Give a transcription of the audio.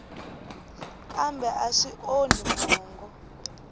kambe a swi onhi mongo